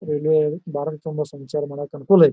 Railway Bharat ತುಂಬಾ ಸಂಚಾರ ಮಾಡಕ ಅನುಕೂಲ ಐತ್.